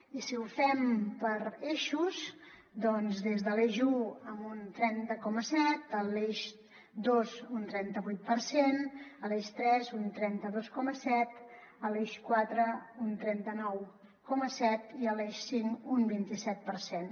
i si ho fem per eixos doncs des de l’eix u en un trenta coma set a l’eix dos un trenta vuit per cent a l’eix tres un trenta dos coma set a l’eix quatre un trenta nou coma set i a l’eix cinc un vint i set per cent